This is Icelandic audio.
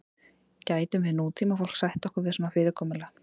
gætum við nútímafólk sætt okkur við svona fyrirkomulag